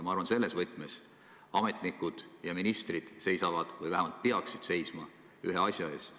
Ma arvan, selles võtmes seisavad ametnikud ja ministrid või vähemalt peaksid seisma ühe asja eest.